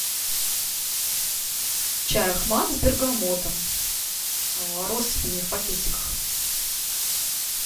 чай ахмад с бергамотом россыпью не в пакетиках